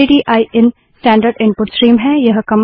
stdin standard input stream है